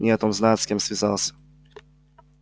не знает он с кем связался